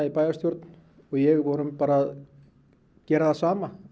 í bæjarstjórn vorum bara að gera það sama